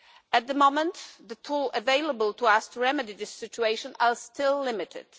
At the moment the tools available to us to remedy this situation are still limited.